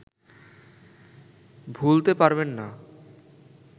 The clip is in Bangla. ভুলতে পারবেন না